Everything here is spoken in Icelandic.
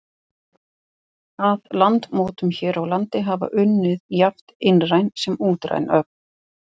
Að landmótun hér á landi hafa unnið jafnt innræn sem útræn öfl.